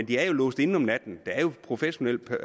det er låst inde om natten der er jo professionelt